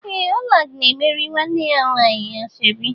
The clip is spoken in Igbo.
Ee! Ọla na-emere nwanne ya nwaanyị ashọbi.